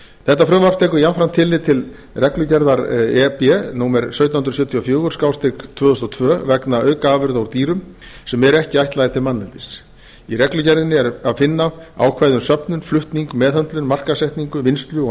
þetta frumvarp tekur jafnframt tillit til reglugerðar e b númer sautján hundruð sjötíu og fjögur tvö þúsund og tvö vegna aukaafurða úr dýrum sem eru ekki ætlaðar til manneldis í reglugerðinni er að finna ákvæði um söfnun flutning meðhöndlun markaðssetningu vinnslu og